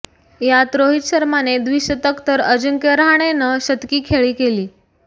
यात रोहित शर्माने द्विशतक तर अंजिक्य रहाणेनं शतकी खेळी केली